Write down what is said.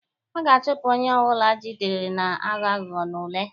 A ga-achụpụ onye ọ bụla ejidere na-aghọ aghụghọ n'ule.